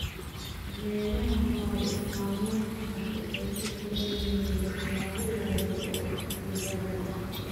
Beeraha nolol maalmeedka waxay ku xiran yihiin waxyaabo yaryar oo dibadda ah.